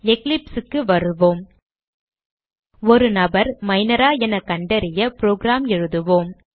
eclipse க்கு வருவோம் ஒரு நபர் Minor ஆ என கண்டறிய புரோகிராம் எழுதுவோம்